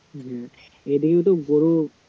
হম এদিকে তো গরু